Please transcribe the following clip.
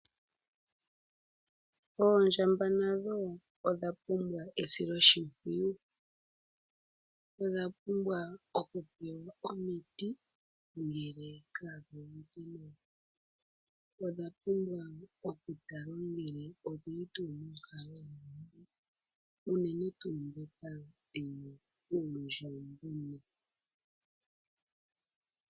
Oondjba nadho odha pumbwa esiloshimpwiyu. Odha pumbwa okupewa omiti ngele kadhi uvite nawa. Odha pumbwa okutalwa ngele odhili tuu monkalo ombwanawa unene tuu ndhoka dhina uundjambagona.